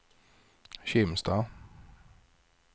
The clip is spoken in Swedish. Kimstad